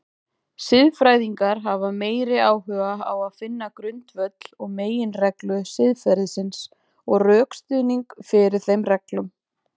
Siðfræðingar hafa meiri áhuga á finna grundvöll og meginreglur siðferðisins og rökstuðning fyrir þeim reglum.